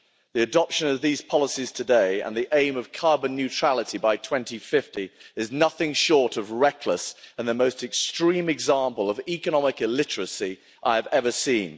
The adoption of these policies today, and the aim of carbon neutrality by 2050, is nothing short of reckless and the most extreme example of economic illiteracy I've ever seen.